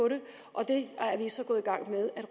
og